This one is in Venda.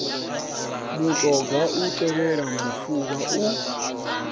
mutoga u tevhela mufuvha u